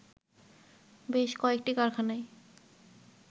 বেশ কয়েকটি কারখানায়